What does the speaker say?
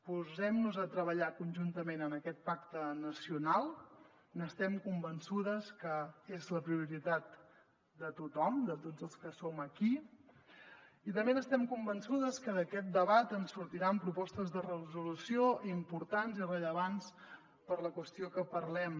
posem nos a treballar conjuntament en aquest pacte nacional n’estem convençudes que és la prioritat de tothom de tots els que som aquí i també estem convençudes que d’aquest debat en sortiran propostes de resolució importants i rellevants per a la qüestió que parlem